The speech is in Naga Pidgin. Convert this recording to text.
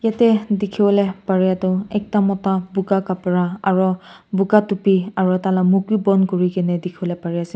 teh dikhiwole pareh tu ekta mota buka khapra aro buka topi aru taila muk bi bon kuri dikhi pari ase.